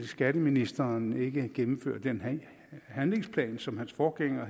skatteministeren nu ikke ville gennemføre den handlingsplan som hans forgænger